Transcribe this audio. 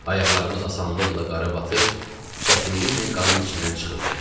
Ayaqlarımız asanlıqla qara batır, çətinliklə qarın içindən çıxırdı.